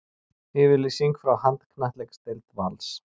Yfirlýsing frá handknattleiksdeild Vals